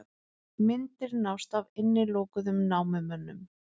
Myndir nást af innilokuðum námumönnum